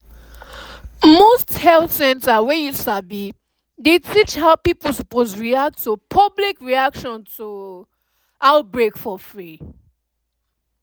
most health center wey u sabi dey teach how people suppose to react to public reaction to outbreak for free